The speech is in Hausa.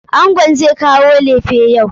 Angon zai kawo lefe yau.